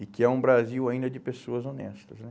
E que é um Brasil ainda de pessoas honestas, né?